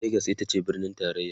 legas itace birnin taraya da